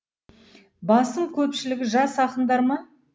басым көпшілігі жас ақындар ма